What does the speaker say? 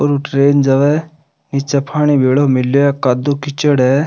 और ट्रैन जावे निचे पानी भेलो मिले कादो कीचड़ है।